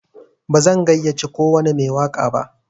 Bazan gayyace kowwani mai waƙa ba.